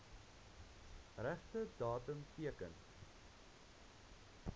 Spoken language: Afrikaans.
regte datum teken